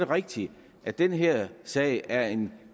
rigtigt at den her sag er en